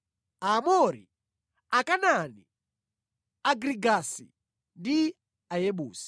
Aamori, Akanaani, Agirigasi ndi Ayebusi.”